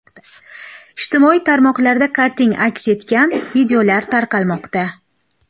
Ijtimoiy tarmoqlarda karting aks etgan videolar tarqalmoqda.